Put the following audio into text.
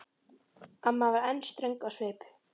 Amma var enn ströng á svip.